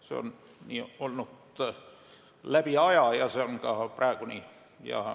See on nii olnud läbi aja ja see on ka praegu nii.